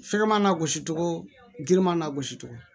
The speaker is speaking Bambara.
Fɛkɛman na gosi cogo giriman na gosi cogo